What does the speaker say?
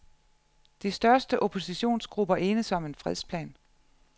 De største oppositionsgrupper enes om en fredsplan.